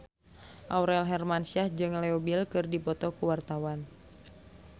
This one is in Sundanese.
Aurel Hermansyah jeung Leo Bill keur dipoto ku wartawan